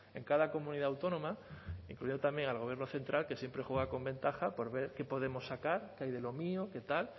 en cada comunidad autónoma incluido también al gobierno central que siempre juega con ventaja por ver qué podemos sacar qué hay de lo mío qué tal